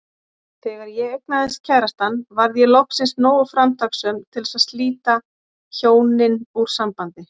Þegar ég eignaðist kærastann varð ég loksins nógu framtakssöm til að slíta hjónin úr sambandi.